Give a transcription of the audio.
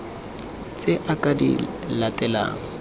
tse a ka di latelang